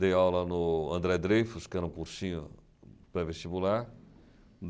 Dei aula no André Dreyfus, que era um cursinho para vestibular.